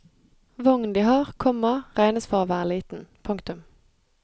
Vognen de har, komma regnes for å være liten. punktum